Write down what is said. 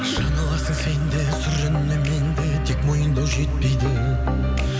жаңыласың сен де сүрінемін мен де тек мойындау жетпейді